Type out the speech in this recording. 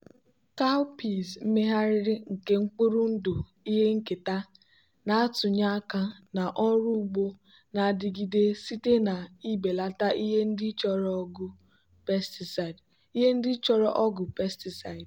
cowpeas megharịrị nke mkpụrụ ndụ ihe nketa na-atụnye aka na ọrụ ugbo na-adigide site na ibelata ihe ndị chọrọ ọgwụ pesticide.